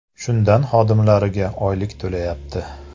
Shundan xodimlariga oylik to‘layapti.